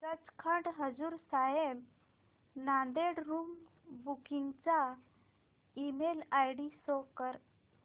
Sachkhand Hazur Sahib Nanded room booking चा email ID show कर